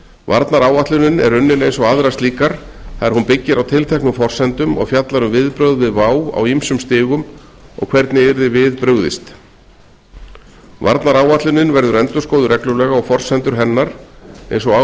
varnaráætlunin er unnin eins og aðrar varnaráætlanir það er hún byggir á tilteknum forsendum og fjallar um viðbrögð við vá á ýmsum stigum og hvernig yrði við brugðið varnaráætlunin verður endurskoðuð reglulega og forsendur hennar eins og á